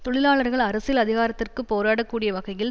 தொழிலாளர்கள் அரசியல் அதிகாரத்திற்குப் போராடக் கூடிய வகையில்